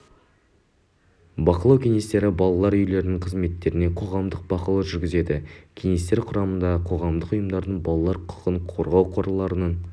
бақылау кеңестері балалар үйлерінің қызметтеріне қоғамдық бақылау жүргізеді кеңестер құрамдары қоғамдық ұйымдардың балалар құқығын қорғау қорларының